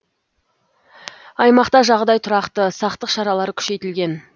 аймақта жағдай тұрақты сақтық шаралары күшейтілген